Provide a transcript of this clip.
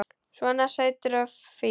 Svona sætur og fínn!